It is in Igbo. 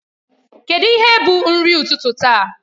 Kedụ ihe bụ nri ụtụtụ taa?